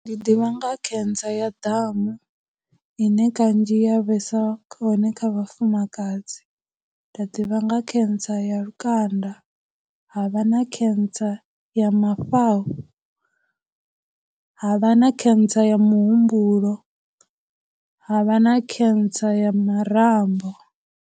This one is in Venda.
Ndi ḓivha nga cancer ya damu, ine kanzhi ya vhesa hone kha vhafumakadzi, nda ḓivha nga cancer ya lukanda, ha vha na cancer ya mafhafhu, havha na cancer ya muhumbulo, havha na cancer ya marambo.